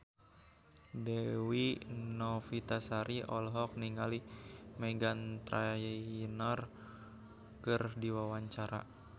Dewi Novitasari olohok ningali Meghan Trainor keur diwawancara